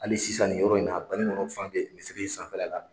Ali sisan ni yɔrɔ in na a banikɔnɔ fan be misiri sanfɛla la